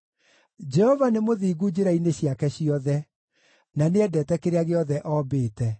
Jehova nĩ mũthingu njĩra-inĩ ciake ciothe, na nĩendete kĩrĩa gĩothe ombĩte.